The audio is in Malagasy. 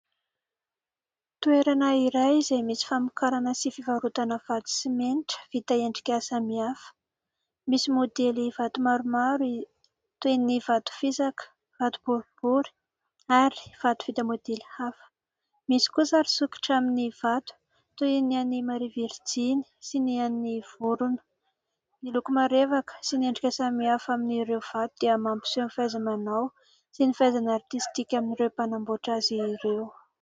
Toerana iray izay misy famokarana sy fivarotana vato simenitra vita endrika samihafa. Misy môdely vato maromaro toy ny vato fisaka, vato boribory, ary vato vita môdely hafa. Misy kosa sary sokitra amin'ny vato toy ny an'i maria virijiny sy ny an'ny vorona. Miloko marevaka sy ny endrika samihafa amin'ireo vato dia mampiseho ny fahaiza-manao sy ny fahaizana artistika amin'ireo mpanamboatra azy ireo.